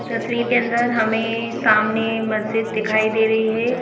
तस्वीर के अंदर हमें सामने मस्जिद दिखाई दे रही है।